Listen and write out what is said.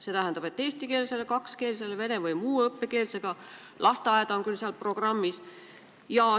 See tähendab, et eestikeelne, kakskeelne, vene või muu õppekeelega lasteaed on küll programmis olemas.